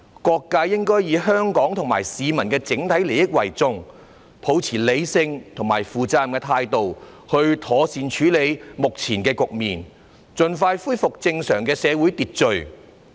各界應以香港和市民的整體利益為重，抱持理性和負責任的態度，妥善處理目前的局面，盡快恢復正常的社會秩序。